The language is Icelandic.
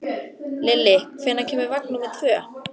Lilli, hvenær kemur vagn númer tvö?